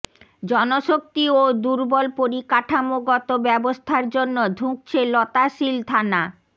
জনশক্তি ও দুর্বল পরিকাঠামোগত ব্যবস্থার জন্য ধুঁকছে লতাশিল থানা